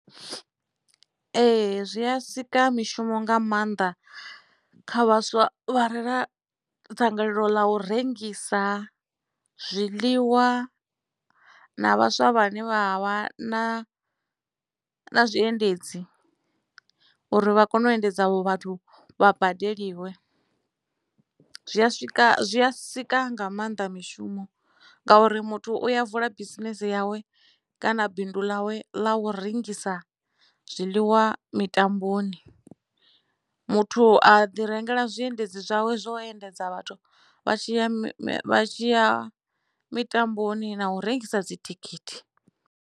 Ee zwi a sika mishumo nga maanḓa kha vhaswa vha re na dzangalelo ḽa u rengisa zwiḽiwa na vhaswa vhane vha vha na na zwiendedzi uri vha kone u endedza avho vhathu vha badeliwe zwi a swika zwi a sika nga maanḓa mishumo ngauri muthu uya vula bisinese yawe kana bindu ḽawe ḽa u rengisa zwiḽiwa mitamboni muthu a ḓi rengela zwiendedzi zwawe zwo endedza vhathu vha tshiya tshi ya mitamboni na u rengisa dzithikhithi.